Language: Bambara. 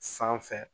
Sanfɛ